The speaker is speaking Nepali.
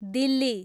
दिल्ली